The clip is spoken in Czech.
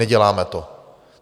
Neděláme to.